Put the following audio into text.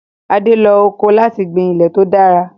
Ade lo ọkọ́ láti gbin ilẹ̀ tó dára.